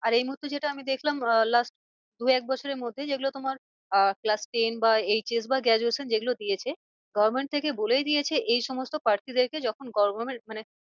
আর এই মুহূর্তে যেটা আমি দেখলাম আহ last দু এক বছরের মধ্যে যেগুলো তোমার আহ class ten বা HS বা graduation যেগুলো দিয়েছে Government থেকে বলেই দিয়েছে এই সমস্ত প্রার্থীদেরকে যখন মানে